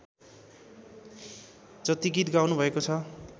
जति गीत गाउनुभएको छ